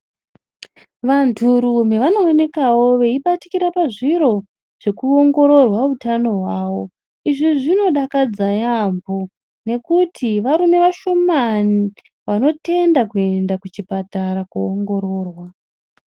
Vanturume vanowonekawo veyibatikira pazviro zvekuwongororwa wutano wawo. Izvi zvinodakadza yambo, nekuti varume vashomani vanotenda kuyenda kuchipatara kowongororwa.